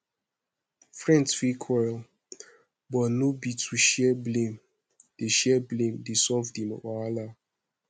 friends fit quarrel but no be to share blame dey share blame dey solve di wahala